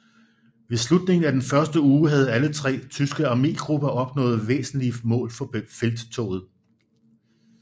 Ved slutningen af den første uge havde alle tre tyske armégrupper opnået væsentlige mål for felttoget